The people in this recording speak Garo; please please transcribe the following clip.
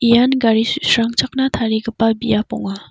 ian gari su·srangchakna tarigipa biap ong·a.